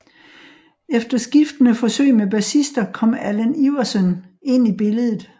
Efter skiftende forsøg med bassister kom Allan Iverssøn ind i billedet